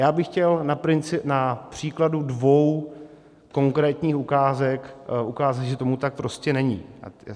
Já bych chtěl na příkladu dvou konkrétních ukázek ukázat, že tomu tak prostě není.